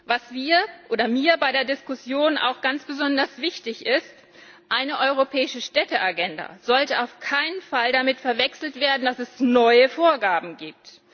Was mir bei der Diskussion auch ganz besonders wichtig ist Eine europäische Städteagenda sollte auf keinen Fall damit verwechselt werden, dass es neue Vorgaben gibt.